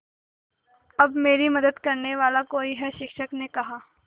अब मेरी मदद करने वाला कोई है शिक्षक ने कहा